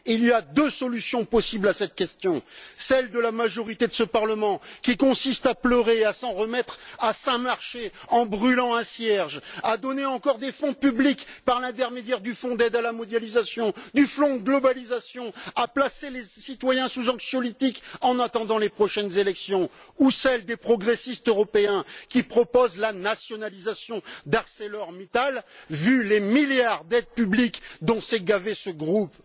Il y a deux solutions possibles à cette question celle de la majorité de ce Parlement, qui consiste à pleurer et à s'en remettre à Saint Marché en brûlant un cierge, à donner encore des fonds publics par l'intermédiaire du Fonds d'ajustement à la mondialisation, à placer les citoyens sous anxiolytiques, en attendant les prochaines élections, ou celle des progressistes européens, qui proposent la nationalisation d'ArcelorMittal, vu les milliards d'aides publiques dont s'est gavé ce groupe.